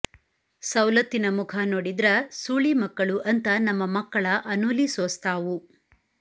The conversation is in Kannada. ಸೌಲತ್ತಿನ ಮುಖಾ ನೋಡಿದ್ರ ಸೂಳಿ ಮಕ್ಕಳು ಅಂತ ನಮ್ಮ ಮಕ್ಕಳ ಅನೂಲಿ ಸೋಸ್ತಾವು